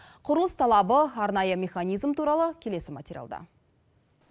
құрылыс талабы арнайы механизм туралы келесі материалда